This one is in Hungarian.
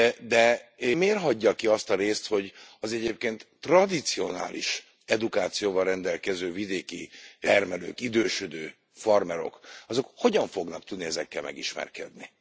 De miért hagyja ki azt a részt, hogy az egyébként tradicionális edukációval rendelkező vidéki termelők, idősödő farmerok, azok hogyan fognak tudni ezekkel megismerkedni?